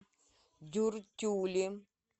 дюртюли